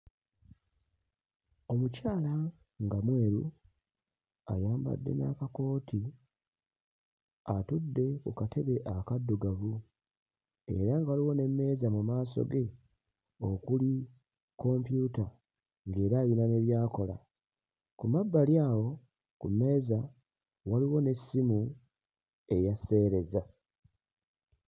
Omukyala nga mweru ayambadde n'akakooti atudde ku katebe akaddugavu era nga waliwo n'emmeeza mu maaso ge okuli kompyuta ng'era ayina ne by'akola. Ku mabbali awo ku mmeeza waliwo n'essimu eya sseereza.